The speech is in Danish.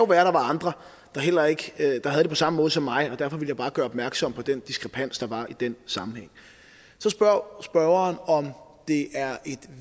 er andre der havde det på samme måde som mig og derfor ville jeg bare gøre opmærksom på den diskrepans der var i den sammenhæng så spørger spørgeren om det er et